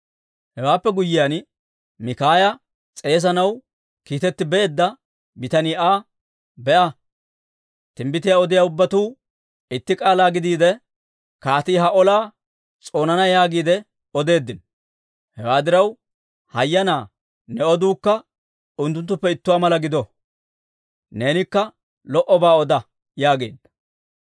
Hewaappe guyyiyaan, Mikaaya s'eesanaw kiitetti beedda bitanii Aa, «Be'a, timbbitiyaa odiyaa ubbatuu itti k'aalaa gidiide, Kaatii ha olaa s'oonana yaagiide odeeddino. Hewaa diraw, hayyanaa ne oduukka unttuttuppe ittuwaa mala gido; neenikka lo"obaa oda» yaageedda.